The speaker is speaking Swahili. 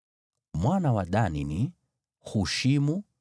Mwana wa Dani ni: Hushimu.